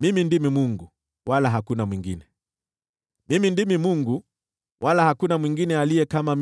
mimi ndimi Mungu, wala hakuna mwingine; mimi ndimi Mungu, wala hakuna mwingine aliye kama mimi.